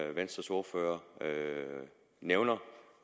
venstres ordfører nævner